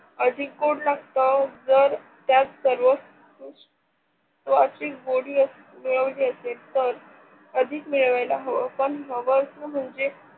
अधिक गोड लागत जर त्यात सर्व गोडी म्हणजे अधिक मिळवायला हव असं म्हणजे